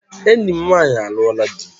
Enyi m nwanyị alụọla dị